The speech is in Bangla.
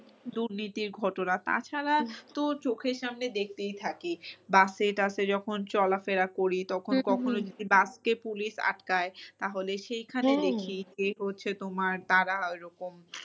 দুর্নীতির ঘটনা তাছাড়া তো চোখের সামনে দেখতেই থাকি বাসে টাসে যখন চলা ফেরা করি তখন কখনো যদি বাসকে police আটকাই তাহলে সেখানে দেখি হচ্ছে তোমার তারা ওরকম